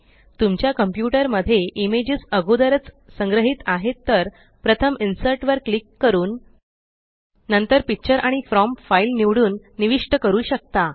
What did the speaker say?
तुमच्या कंप्यूटर मध्ये इमेजस अगोदरच संग्रहीत आहेत तर प्रथम इन्सर्ट वर क्लिक करून नंतर पिक्चर आणि फ्रॉम फाइल निवडून निविष्ट करू शकता